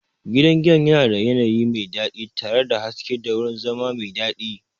Gidan giyan yana da yanayi mai daɗi tare da haske da wurin zama mai daɗi.